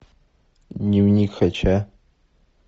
дневник хача